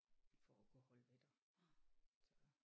For at kunne holde ved der så